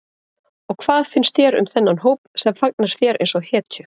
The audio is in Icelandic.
Og hvað finnst þér um þennan hóp sem fagnar þér eins og hetju?